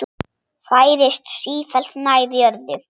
Færist sífellt nær jörðu.